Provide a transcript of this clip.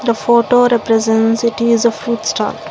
the photo represents it's a food stall.